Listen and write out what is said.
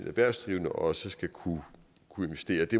erhvervsdrivende også skal kunne investere det